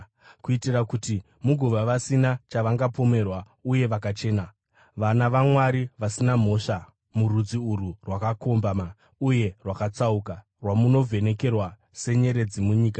kuitira kuti mugova vasina chavangapomerwa uye vakachena, vana vaMwari vasina mhosva murudzi urwu rwakakombama uye rwakatsauka, rwamunovhenekera senyeredzi munyika